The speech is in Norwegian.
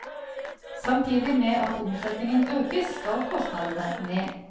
Samtidig med at omsetningen økes, skal kostnadene ned.